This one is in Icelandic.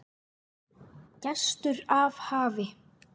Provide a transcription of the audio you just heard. Gestur af hafi